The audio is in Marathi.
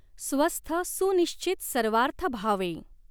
स्वस्थ सुनिश्चित सर्वार्थभावें।